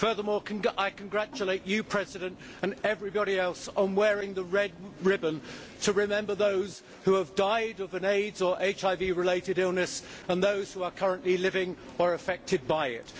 Furthermore, I congratulate you, President, and everybody else for wearing the red ribbon to remember those who have died of an AIDS or HIV related illness and those who are currently living with or affected by it.